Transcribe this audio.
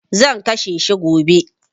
Zan kashe shi gobe.